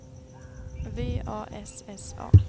V A S S A